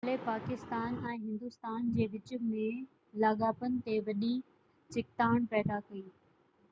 حملي پاڪستان ۽ هندوستان جي وچ ۾ لاڳاپن تي وڏي ڇڪتاڻ پيدا ڪئي